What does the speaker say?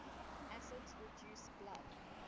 acids reduce blood